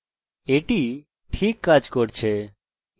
এটি এখানে phpacademy